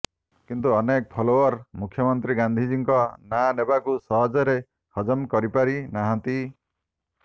କିନ୍ତୁ ଅନେକ ଫଲୋଅର୍ ମୁଖ୍ୟମନ୍ତ୍ରୀ ଗାନ୍ଧିଜୀଙ୍କ ନାଁ ନେବାକୁ ସହଜରେ ହଜମ କରିପାରି ନାହାଁନ୍ତି